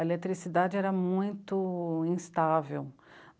A eletricidade era muito instável.